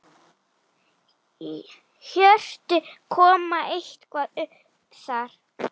Hjörtur: Kom eitthvað upp þar?